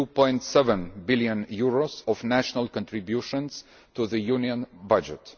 2.7 billion of national contributions to the Union budget.